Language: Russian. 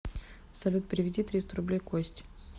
салют переведи триста рублей косте